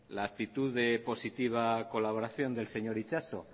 la actitud de positiva de colaboración del señor itxaso